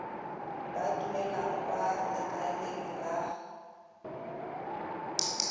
ba duelang kwa lekaleng la